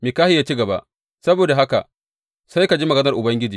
Mikahiya ya ci gaba, Saboda haka sai ka ji maganar Ubangiji.